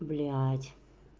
блять